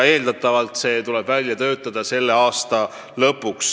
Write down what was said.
Eeldatavalt peab see tehtud olema selle aasta lõpuks.